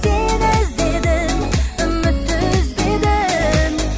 сені іздедім үмітті үзбедім